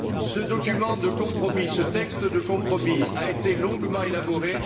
Ce document de compromis, ce texte de compromis, a été longuement élaboré.